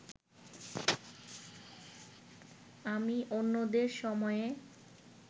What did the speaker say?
আমি অন্যদের সময়ে